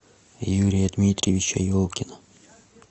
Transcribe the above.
юрия дмитриевича елкина